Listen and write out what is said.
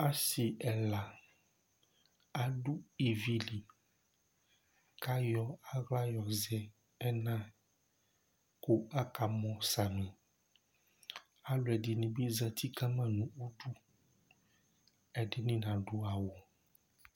Asi ɛla adu ívì li kɔ ayɔ aɣla yɔ zɛ ɛlu kʋ akamɔ samì Alʋɛdìní bi zɛti kama nʋ ʋdu Ɛdiní nadu awu